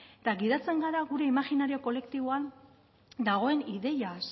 eta gidatzen gara gure imaginario kolektiboan dagoen ideiaz